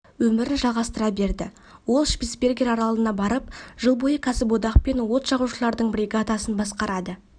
өмірін жалғастыра берді ол шпицбергер аралына барып жыл бойы кәсіподақ пен от жағушылардың бригадасын басқарады